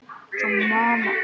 Ólíkur taktur.